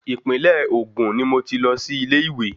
Ìpínlẹ̀ Ògùn ni mo ti lọ sí ilé ìwé.